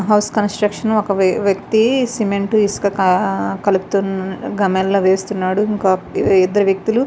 House construction వక వక్తి cement ఇసుక కడుతున గామేన్లో వేస్తునాడు. ఇంకో ఇద్దరు వ్యక్తులు --